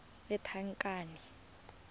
lethakane